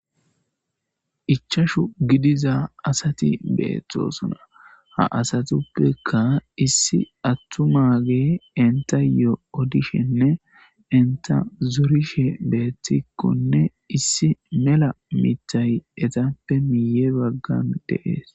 Ichashu gidiza asati beetosona Ha asatuppekka issi atumaage enttayo odishenne entta zorishe beetikkonne issi mela miththay ettappenne miye baggan d7ees.